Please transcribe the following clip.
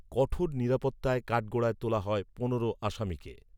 কঠোর নিরাপত্তায় কাঠগড়ায় তোলা হয় পনেরো আসামিকে